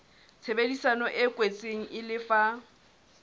tshebedisano e kwetsweng e lefa